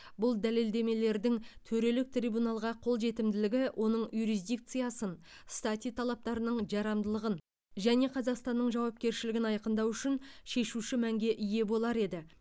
бұл дәлелдемелердің төрелік трибуналға қолжетімділігі оның юрисдикциясын стати талаптарының жарамдылығын және қазақстанның жауапкершілігін айқындау үшін шешуші мәнге ие болар еді